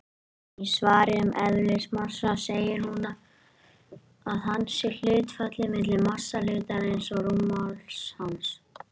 Í svari um eðlismassa segir að hann sé hlutfallið milli massa hlutarins og rúmmáls hans.